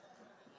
Azərbaycanda bu.